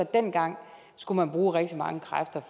dengang skulle bruge rigtig mange kræfter